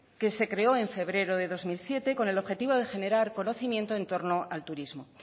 que se creó en febrero de dos mil siete con el objetivo de generar conocimiento en torno al turismo